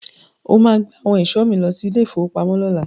O máa gbé àwọn ẹ̀ṣọ́ mi lọ sí ilé-ìfowópamọ́ lọ́la.